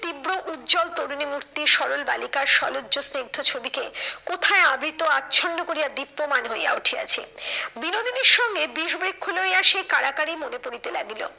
তীব্র উজ্জ্বল তরুণী মূর্তি সরল বালিকার সলজ্জ স্নিগ্ধ ছবিকে কোথায় আবৃত আচ্ছন্ন করিয়া দীপ্যমান হইয়া উঠিয়াছে। বিনোদিনীর সঙ্গে বিষবৃক্ষ লইয়া সেই কাড়াকাড়ি মনে পড়িতে লাগিল।